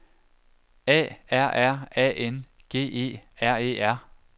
A R R A N G E R E R